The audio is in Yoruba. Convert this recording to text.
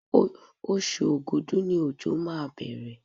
Oṣù Ògùdú ni òjò máa bẹ̀rẹ̀.